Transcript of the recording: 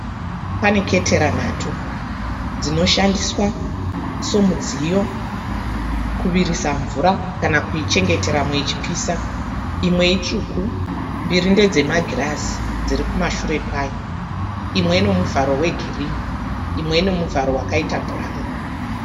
Paneketera nhatu dzinoshandiswa somudziyo kuvirisa mvura kana kuichengeteramo ichipisa. Imwe itsvuku mbiri ndedzemagirazi dzIri kumashure kwayo. Imwe inomuvharo wegirinhi imwe inomuvharo wakaita bhurauni.